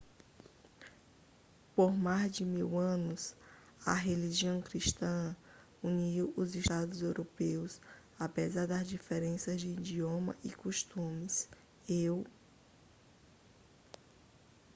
por mais de mil anos a religião cristã uniu os estados europeus apesar das diferenças de idioma e costumes eu